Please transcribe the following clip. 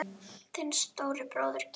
Þinn stóri bróðir, Gísli.